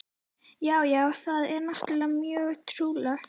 Já, já, það er náttúrlega mjög trúlegt.